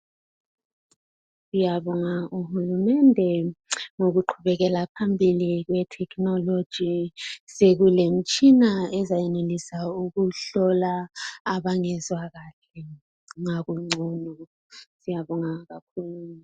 Siyabonga uhulumende ngokuqhubekela phambili ngetechnology. Sekulemtshina ezayenelesa ukuhlola abangezwakahle ngakungono siyabonga kukhulu.